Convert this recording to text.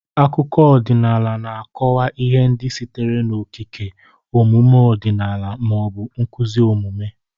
Akụkọ ọdịnala na-akọwa ihe ndị sitere n'okike, omume ọdịnala, ma ọ bụ nkuzi omume.